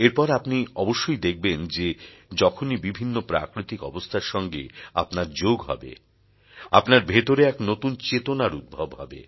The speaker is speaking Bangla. এরপর আপনি অবশ্যই দেখবেন যে যখনই বিভিন্ন প্রাকৃতিক অবস্থার সঙ্গে আপনার যোগ হবে আপনার ভেতরে এক নতুন চেতনার উদ্ভব হবে